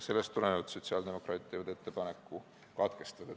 Sellest tulenevalt teevad sotsiaaldemokraadid ettepaneku eelnõu teine lugemine katkestada.